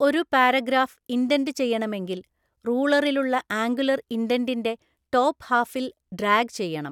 ഒരു paragraph indent ചെയ്യണമെങ്കിൽ റൂളറിലുള്ള ആങ്കുലർ ഇൻഡെന്റിന്റെ ടോപ്‌ഹാഫില്‍ ഡ്രാഗ് ചെയ്യണം.